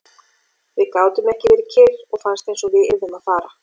Við gátum ekki verið kyrr og fannst einsog við yrðum að fara.